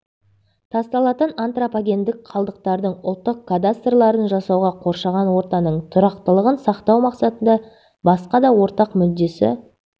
тасталатын антропогендік қалдықтардың ұлттық кадастрларын жасауға қоршаған ортаның тұрақтылығын сақтау мақсатында басқа да ортақ мүддесі